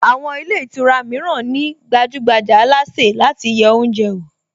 Àwọn ilé ìtura mìíràn ní gbajúgbajà alásè láti yẹ oúnjẹ wò